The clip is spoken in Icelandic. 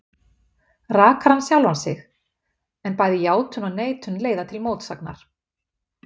Rakar hann sjálfan sig? en bæði játun og neitun leiða til mótsagnar.